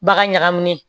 Bagan ɲagaminen